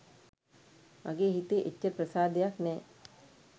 මගේ හිතේ එච්චර ප්‍රසාදයක් නෑ.